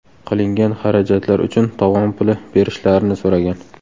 Qilingan xarajatlar uchun tovon puli berishlarini so‘ragan.